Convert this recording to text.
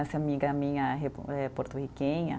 Essa amiga minha repu, eh porto-riquenha.